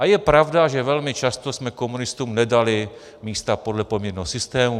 A je pravda, že velmi často jsme komunistům nedali místa podle poměrného systému.